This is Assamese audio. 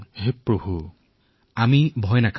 হে ভগৱান